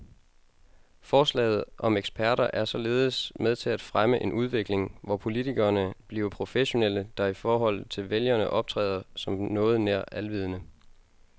Forslaget om eksperter er således med til at fremme en udvikling, hvor politikerne bliver professionelle, der i forhold til vælgerne optræder som noget nær alvidende.